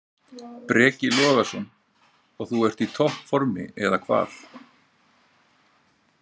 Breki Logason: Og þú ert í topp formi, eða hvað?